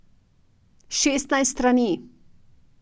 Šestnajst strani!